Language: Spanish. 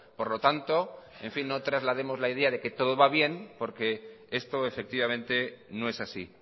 por lo tanto en fin no traslademos la idea de que todo va bien porque esto efectivamente no es así